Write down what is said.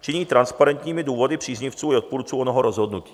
činí transparentními důvody příznivců i odpůrců onoho rozhodnutí.